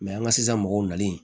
an ka sisan mɔgɔw nalen